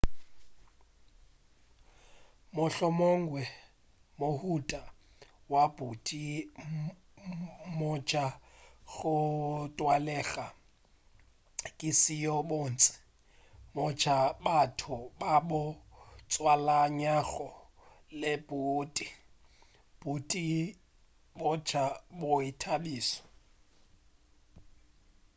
mohlomongwe mohuta wa boeti bja go tlwaelaga ke seo bontši bja batho ba bo tswalanyago le boeti boeti bja boithabišo